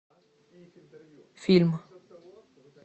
фильм